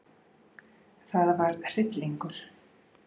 Það var hryllingur.